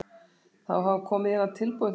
Þó hafa komið í hana tilboð í Þýskalandi.